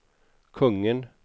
kungen